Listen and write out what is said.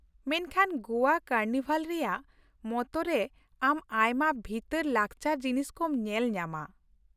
ᱢᱮᱱᱠᱷᱟᱱ ᱜᱚᱣᱟ ᱠᱟᱨᱱᱤᱵᱷᱟᱞ ᱨᱮᱭᱟᱜ ᱢᱚᱛᱚ ᱨᱮ ᱟᱢ ᱟᱭᱢᱟ ᱵᱷᱤᱛᱟᱹᱨ ᱞᱟᱠᱪᱟᱨ ᱡᱤᱱᱤᱥ ᱠᱚᱢ ᱧᱮᱞ ᱧᱟᱢᱟ ᱾